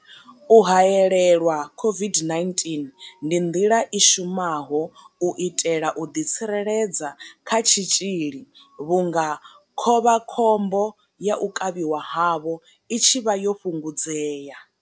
U haelelwa COVID-19 ndi nḓila i shumaho u itela u ḓitsireledza kha tshitzhili vhunga khovha khombo ya u kavhiwa havho i tshi vha yo fhungudzea.